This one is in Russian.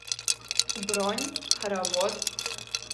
бронь хоровод